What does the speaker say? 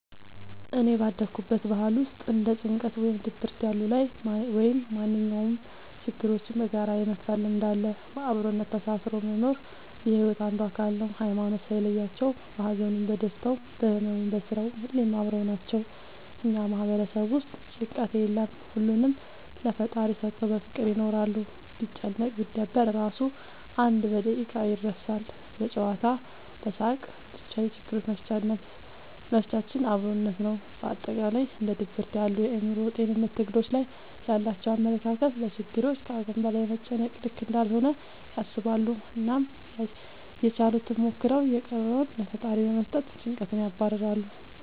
እኔ ባደኩበት ባህል ውስጥ እንደ ጭንቀት ወይም ድብርት ያሉ ላይ ወይም ማንኛውም ችግሮችን በጋራ የመፍታት ልምድ አለ። በአብሮነት ተሳስሮ መኖር የሒወት አንዱ አካል ነው። ሀይማኖት ሳይለያቸው በሀዘኑም በደስታውም በህመሙም በስራውም ሁሌም አብረው ናቸው። እኛ ማህበረሰብ ውስጥ ጭንቀት የለም ሁሉንም ለፈጣሪ ሰተው በፍቅር ይኖራሉ። ቢጨነቅ ቢደበር እራሱ አንድ በደቂቃ ይረሳል በጨዋታ በሳቅ በቻ የችግሮች መፍቻችን አብሮነት ነው። በአጠቃላይ እንደ ድብርት ያሉ የአእምሮ ጤንነት ትግሎች ላይ ያላቸው አመለካከት ለችግሮች ከአቅም በላይ መጨነቅ ልክ እንዳልሆነ ያስባሉ አናም ያችሉትን ሞክረው የቀረውን ለፈጣሪ በመስጠት ጨንቀትን ያባርራሉ።